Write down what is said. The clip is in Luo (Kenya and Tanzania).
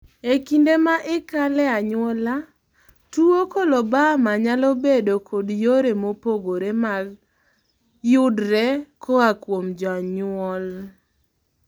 e kinde ma ikale e anyuola, tuwo coloboma nyalo bedo kod yore mopogore mag yudre koa kuom janyuol